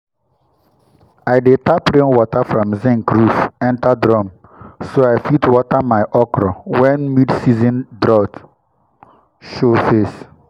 i dey tap rainwater from zinc roof enter drum so i fit water my okro when mid-season drought show face.